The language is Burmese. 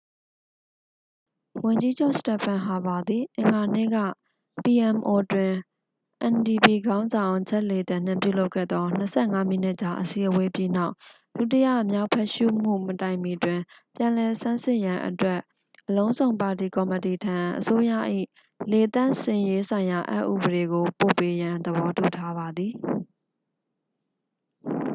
"ဝန်ကြီးချုပ် စတက်ဖန် ဟာပါ သည် အင်္ဂါနေ့က ပီအမ်အို pmo တွင် အန်ဒီပီ ndp ခေါင်းဆောင် ဂျက် လေတန် နှင့် ပြုလုပ်ခဲ့သော ၂၅ မိနစ်ကြာအစည်းအဝေးပြီးနောက်၊ ဒုတိယမြောက်ဖတ်ရှုမှုမတိုင်မီတွင်၊ ပြန်လည်ဆန်းစစ်ရန်အတွက် အလုံးစုံပါတီကော်မတီထံ အစိုးရ၏ "လေသန့်စင်ရေးဆိုင်ရာအက်ဥပဒေ" ကိုပို့ပေးရန် သဘောတူထားပါသည်။